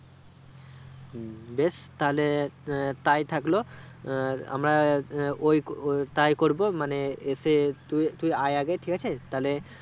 হুম বেশ তাহলে তাই থাকলো আহ আমার ওইওইতাই করবে মানে এসে তুই তুই আই আগে ঠিক আছে তাহলে